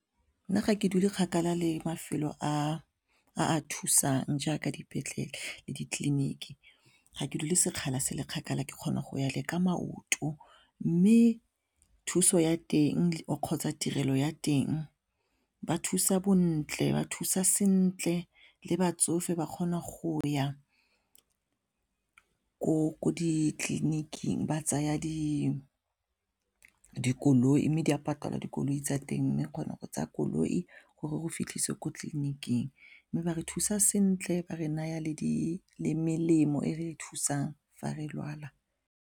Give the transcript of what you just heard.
Nna ga ke dule kgakala le mafelo a a thusang jaaka dipetlele le ditleliniki ga ke dule sekgala se le kgakala ke kgona go ya le ka maoto mme thuso ya teng kgotsa tirelo ya teng ba thusa bontle, ba thusa sentle le batsofe ba kgona go ya ko ditleliniking ba tsaya dikoloi mme di a patalwa dikoloi tsa teng mme kgona go tsaya koloi gore o fitlhiswe ko tleliniking mme ba re thusa sentle ba re naya le melemo e re thusang fa re lwala.